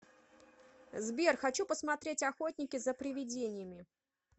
сбер хочу посмотреть охотники за приведениями